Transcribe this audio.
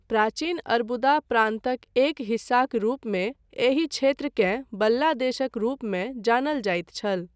प्राचीन अरबुदा प्रान्तक एक हिस्साक रूपमे, एहि क्षेत्रकेँ बल्ला देशक रूपमे जानल जाइत छल।